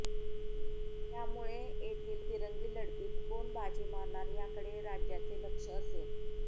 त्यामुळेच येथील तिरंगी लढतीत कोण बाजी मारणार याकडे राज्याचे लक्ष असेल